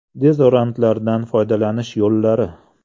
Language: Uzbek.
Dezodorantlardan foydalanish yo‘llari.